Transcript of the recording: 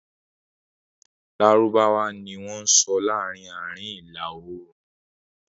Lárúbáwá ni wọ́n sọ laarin Aarin Ila-oorun